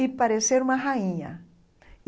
e parecer uma rainha.